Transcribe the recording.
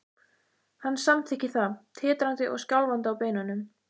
Hann samþykkir það, titrandi og skjálfandi á beinunum.